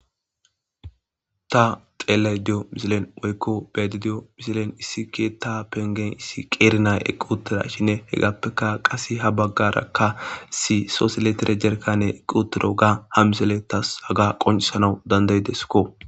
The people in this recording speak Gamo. Ta xeelay diyo misilen woykko beedi diyo misilen issi ke ta pengen issi qeerinay eqquutira shinne he gappeka qase ha baggarakka isi soosiletere jerkane eqquutiro ga ha misele tas haga qoncisanau danday deskko.